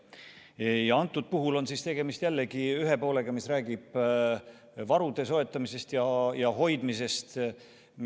Selle eelnõu puhul on tegemist ühe poolega, mis räägib varude soetamisest ja hoidmisest.